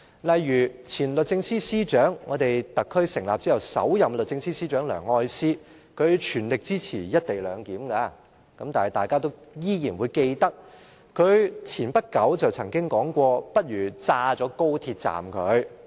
例如前律政司司長，特區政府成立後的首任律政司司長梁愛詩，她全力支持"一地兩檢"，但是，大家都仍然記得，她不久前曾經說過"不如炸掉高鐵站"。